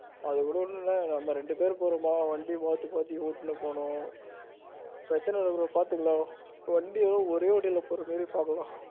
அது கூட ஒன்னும் இல்ல நம்ம ரெண்டு பேரும் போறோம்னா வண்டி மாத்தி மாத்தி ஓட்டிட்டு போனோம் பிரச்சனை இல்ல பாத்துக்கலாம் bro வண்டி மட்டும் ஒரே வண்டியில போற மாதிரி பாத்துகலாம்.